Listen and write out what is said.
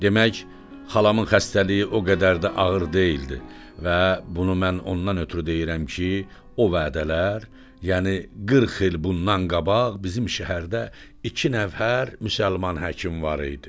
Demək, xalamın xəstəliyi o qədər də ağır deyildi və bunu mən ondan ötrü deyirəm ki, o vədlər, yəni 40 il bundan qabaq bizim şəhərdə iki nəfər müsəlman həkim var idi.